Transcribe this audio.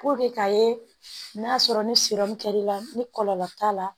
k'a ye n'a sɔrɔ ni kɛr'i la ni kɔlɔlɔ t'a la